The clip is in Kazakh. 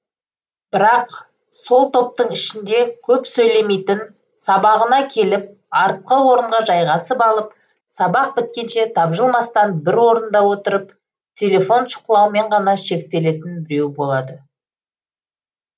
бірақ сол топтың ішінде көп сөйлемейтін сабағына келіп артқы орынға жайғасып алып сабақ біткенше табжылмастан бір орында отырып телефон шұқылаумен ғана шектелетін біреу болады